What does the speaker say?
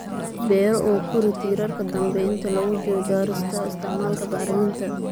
beero oo kori tiirarka dambe inta lagu jiro jarista. Isticmaalka bacriminta